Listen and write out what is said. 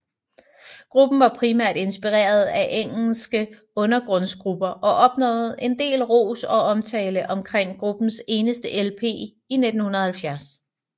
Gruppen var primært inspireret af engelske undergrundsgrupper og opnåede en del ros og omtale omkring gruppens eneste LP i 1970